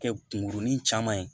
Kɛ kunkurunin caman ye